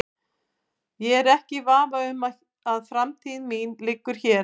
Ég er ekki í vafa um að framtíð mín liggur hér.